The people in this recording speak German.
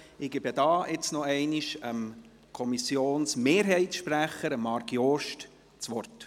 Ich gebe hierzu noch einmal dem Sprecher der Kommissionsmehrheit, Marc Jost, das Wort.